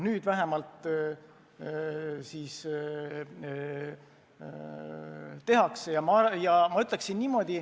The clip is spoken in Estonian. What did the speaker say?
Nüüd vähemalt siis tehakse.